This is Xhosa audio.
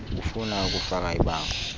ufuna ukufaka ibango